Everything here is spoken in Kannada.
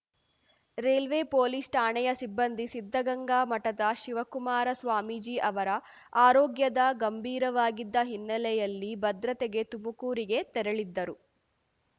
ರೈಲ್ವೆ ಪೊಲೀಸ್‌ ಠಾಣೆಯ ಸಿಬ್ಬಂದಿ ಸಿದ್ಧಗಂಗಾ ಮಠದ ಶಿವಕುಮಾರಸ್ವಾಮೀಜಿ ಅವರ ಆರೋಗ್ಯದ ಗಂಭೀರವಾಗಿದ್ದ ಹಿನ್ನೆಲೆಯಲ್ಲಿ ಭದ್ರತೆಗೆ ತುಮಕೂರಿಗೆ ತೆರಳಿದ್ದರು